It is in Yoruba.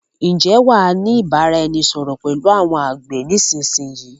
Ǹ jẹ́ wàá ni ìbáraẹnisọọ̀rọ̀ pẹ̀lú àwọn àgbẹ̀ ni ìsinsìnyí?